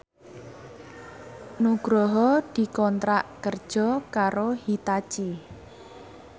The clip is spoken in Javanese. Nugroho dikontrak kerja karo Hitachi